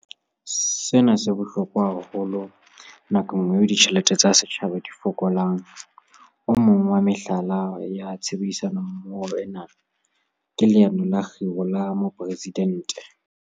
Sena se bohlokwa haholo nakong eo ditjhelete tsa setjhaba di fokolang. O mong wa mehlala ya tshebedisano mmoho ena ke Leano la Kgiro la Mopresi-dente.